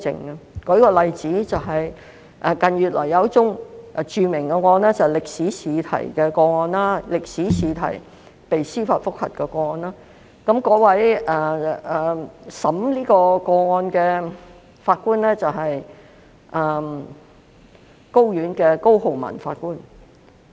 我舉一個例子，近月有一宗著名案件，就是歷史科試題的司法覆核案件，負責審理的法官是高等法院的高浩文法官。